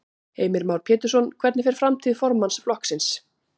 Heimir Már Pétursson: Hvernig fer framtíð formanns flokksins?